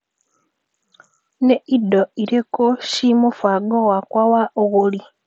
Nĩ indo irĩkũ ci mũbango-inĩ wakwa wa ũgũri .